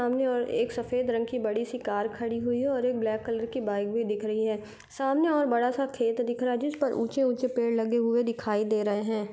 सामने और एक सफेद रंग की बड़ी सी कार खड़ी हुई है और एक ब्लैक कलर की बाइक भी दिख रही है सामने और एक बड़ा सा खेत दिख रहा है जिस पर ऊंचे-ऊंचे पेड लगे हुए दिखाई दे रहे हैं।